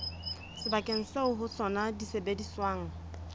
sebakeng seo ho sona disebediswa